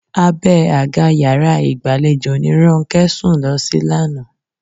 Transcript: Abẹ́ àga yàrá ìgbàlejò ni Ronkẹ́ sùn lọ sí lánàá